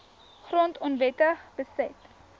grond onwettig beset